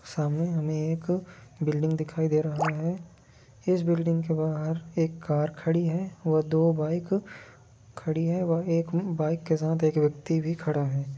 सामने हमें एक बिल्डिंग दिखाई दे रहा है इस बिल्डिंग के बहार एक कार खड़ी है और दो बाइक खड़ी है वाईट एक बाईक के साथ एक व्यक्ति भी खड़ा है ।